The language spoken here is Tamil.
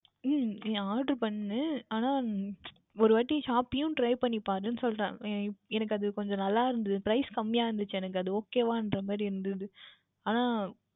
உம் நீ Oder பண்ணு ஆனால் ஓர் வாற்றி Shopee யும் Try பண்ணி பார் என்று சொல்லுகின்றேன் எனக்கு அது கொஞ்சம் நன்றாக இருந்தது Price யும் கம்மியாக இருந்தது எனக்கு அது Okay வாக இருந்த மாதிரி இருந்தது